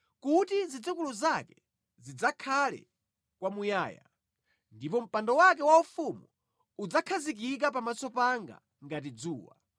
kuti zidzukulu zake zidzakhale kwamuyaya ndipo mpando wake waufumu udzakhazikika pamaso panga ngati dzuwa;